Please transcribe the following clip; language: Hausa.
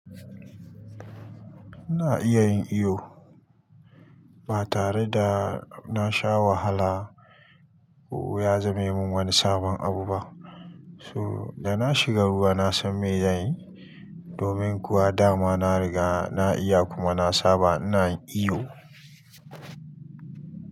Ina iya yin iyo ba tare da na sha wahala ko ya zame min wani sabon abu ba. So da na shiga ruwa na san me zan yi. Domin kuwa dama na riga na iya kuma na saba ina yin iyo.